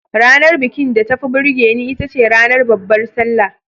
Ranar bikin da tafi burge ni itace ranar Babbar Sallah.